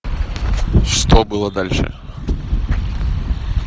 что было дальше